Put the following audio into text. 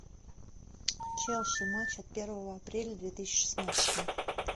челси матч от первого апреля две тысячи шестнадцатого